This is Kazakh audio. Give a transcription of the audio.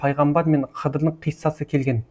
пайғамбар мен хыдырдың қиссасы келген